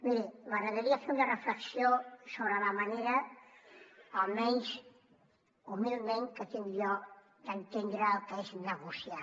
miri m’agradaria fer una reflexió sobre la manera almenys humilment que tinc jo d’entendre el que és negociar